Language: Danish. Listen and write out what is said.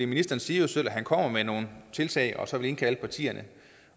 ministeren siger jo selv at han kommer med nogle tiltag og så vil indkalde partierne